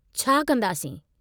छा कंदासीं?